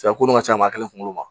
Cɛ ko ka ca maa kelen kunkolo ma